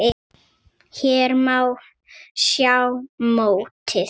Hér má sjá mótið.